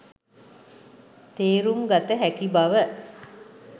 තේරුම් ගත හැකි බව